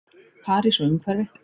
París og umhverfi.